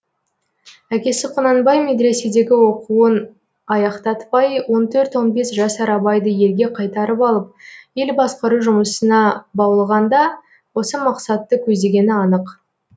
әкесі құнанбай медреседегі оқуын аяқтатпай он төрт он бес жасар абайды елге қайтарып алып ел басқару жұмысына баулығанда осы мақсатты көздегені анық